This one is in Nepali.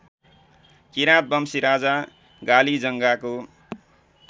किरातवंशी राजा गालीजङ्गाको